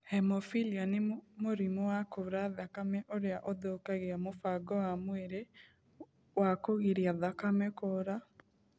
Hemofilia nĩ mũrimũ wa kuura thakame ũria ũthũkagia mũbango wa mwiri wa kũgiria thakame kuura.